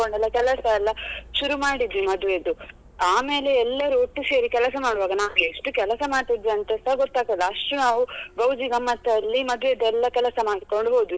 ಕೆಲಸ ಎಲ್ಲ ಶುರು ಮಾಡಿದ್ವಿ ಮದ್ವೆದ್ದು ಆಮೇಲೆ ಎಲ್ಲರು ಒಟ್ಟು ಸೇರಿ ಕೆಲಸ ಮಾಡುವಾಗ ನನ್ಗೆ ಎಷ್ಟು ಕೆಲಸ ಮಾಡ್ತಿದ್ವಿ ಅಂತಸ ಗೊತ್ತಾಗ್ತಿರ್ಲಿಲ್ಲ ಅಷ್ಟು ನಾವು ಗೌಜಿ ಗಮ್ಮತ್ ಅಲ್ಲಿ ಮದುವೆದೂ ಎಲ್ಲ ಕೆಲಸ ಮಾಡಿಕೊಂಡು ಹೋದ್ವಿ.